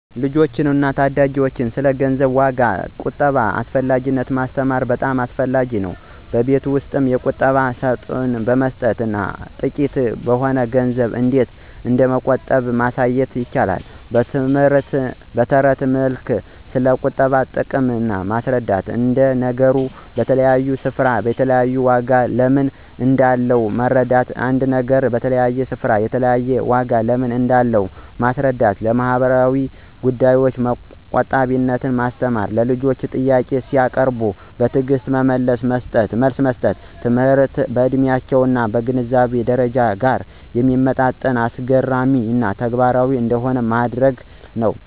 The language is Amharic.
ልጆችን እና ታዳጊዎችን ስለ ገንዘብ ዋጋ እና ቁጠባ አስፈላጊነት ማስተማር በጣም አስፈላጊ ነው። በቤት ውስጥ የቁጠባ ሳጥን በመስጠት እና ጥቂት በሆነ ገንዘብ እንዴት እንደሚቆጥቡ ማሳየት። በትረት መልክ ስለቁጠባ ጥቅም ማስረዳት። አንድ ነገር በተለያየ ስፍራ የተለያየ ዋጋ ለምን እንዳለው መረዳት ·አንድ ነገር በተለያየ ስፍራ የተለያየ ዋጋ ለምን እንዳለው ማስረዳት። ለማህበራዊ ጉዳዮች ቆጣቢነትን ማስተማር። ልጆች ጥያቄ ሲያቀርቡ በትዕግስት መልስ መስጠት። ትምህርቱ ከዕድሜያቸው እና ከግንዛቤ ደረጃቸው ጋር የሚመጥን፣ አስገራሚ እና ተግባራዊ እንዲሆን ማድረግ ነው።